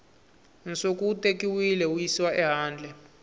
nsuku wu tekiwile wuyisiwa ehandle